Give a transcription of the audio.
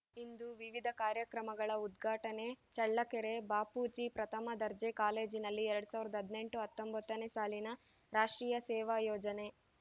ಇಂದು ವಿವಿಧ ಕಾರ್ಯಕ್ರಮಗಳ ಉದ್ಘಾಟನೆ ಚಳ್ಳಕೆರೆ ಬಾಪೂಜಿ ಪ್ರಥಮ ದರ್ಜೆ ಕಾಲೇಜಿನಲ್ಲಿ ಎರಡ್ ಸಾವಿರದ ಹದಿನೆಂಟು ಹತ್ತೊಂಬತ್ತನೇ ಸಾಲಿನ ರಾಷ್ಟ್ರೀಯ ಸೇವಾ ಯೋಜನೆ